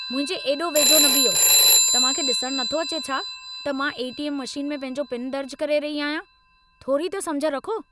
मुंहिंजे एॾो वेझो न बीहो! तव्हां खे ॾिसणु नथो अचे छा त मां ए.टी.एम. मशीन में पंहिंजो पिन दर्जु करे रही आहियां? थोरी त समुझ रखो।